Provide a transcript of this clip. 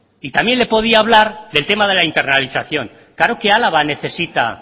y también le podía hablar del tema de la internalización claro que álava necesita